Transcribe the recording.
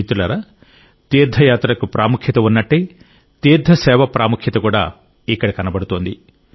మిత్రులారా తీర్థయాత్రకు ప్రాముఖ్యత ఉన్నట్టే తీర్థ సేవ ప్రాముఖ్యత కూడా ఇక్కడ కనబడుతోంది